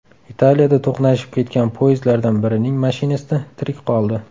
Italiyada to‘qnashib ketgan poyezdlardan birining mashinisti tirik qoldi.